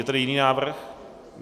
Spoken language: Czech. Je tady jiný návrh?